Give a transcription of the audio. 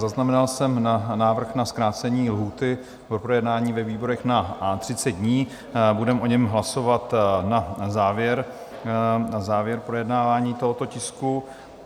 Zaznamenal jsem návrh na zkrácení lhůty pro projednání ve výborech na 30 dní, budeme o něm hlasovat na závěr projednávání tohoto tisku.